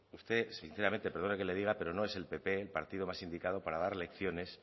usted sinceramente perdone que le diga pero no es el pp el partido más indicado para dar lecciones